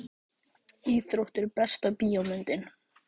íþróttir Besta bíómyndin?